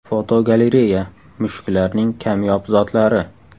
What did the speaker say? Fotogalereya: Mushuklarning kamyob zotlari.